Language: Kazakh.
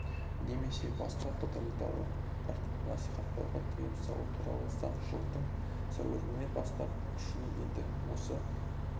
немесе басқа тоталитарлық тәртіпті насихаттауға тыйым салу туралы заң жылдың сәуірінен бастап күшіне енді осы